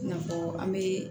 I n'a fɔ an be